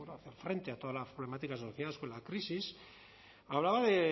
hacer frente a todas las problemáticas asociadas con la crisis hablaba de